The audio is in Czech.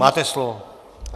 Máte slovo.